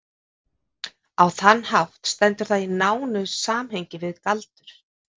á þann hátt stendur það í nánu samhengi við galdur